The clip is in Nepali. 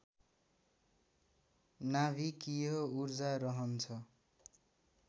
नाभिकीय ऊर्जा रहन्छ